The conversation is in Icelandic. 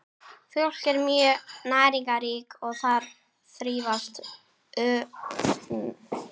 Mjólk er mjög næringarrík og þar þrífast örverur einna best.